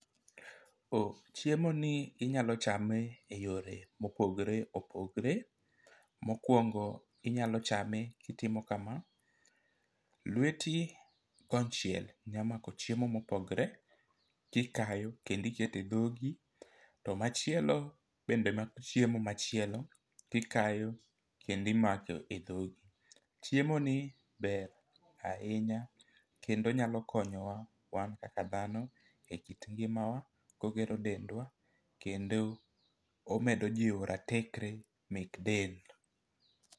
Chiemo ni inyalo chame e yore mopogore opogre . Mokwongo inyalo chame kitimo kama: lweti kon chiel nya mako chiemo mopogre tikayo kendi kete dhogi to machielo bende mako chiemo machielo tikayo kendo imako e dhogi .Chiemo ni ber ahinya kendo onyalo konyowa wan kaka dhano e kit ngimawa ogero dendwa kendo omedo jiwo ratekre mek del.